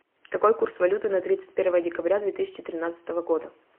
какой курс валюты на тридцать первое декабря две тысячи тринадцатого года